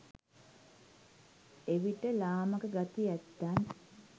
එවිට ලාමක ගති ඇත්තන්